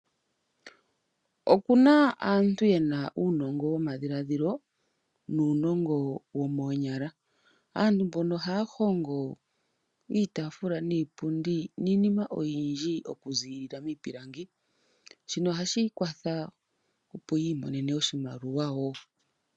Oku na aantu ye na uunongo womadhiladhilo nuunongo womoonyala. Aantu mbono ohaya hongo iitaafula niipundi niinima oyindji okuziilila miipilangi. Shino ohashi kwatha, opo yi imonene oshimaliwa wo.